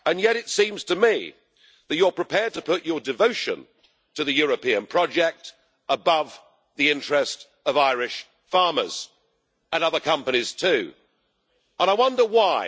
And yet it seems to me that you are prepared to put your devotion to the European project above the interest of Irish farmers and other companies too, and I wonder why.